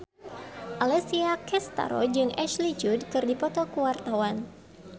Alessia Cestaro jeung Ashley Judd keur dipoto ku wartawan